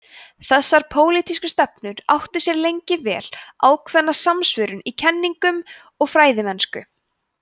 þessar pólitísku stefnur áttu sér lengi vel ákveðna samsvörun í kenningum og fræðimennsku